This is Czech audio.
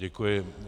Děkuji.